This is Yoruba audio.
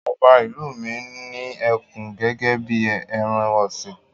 Ọba ìlú mi ní ẹkùn gẹ́gẹ́ bí ẹran-ọ̀sìn.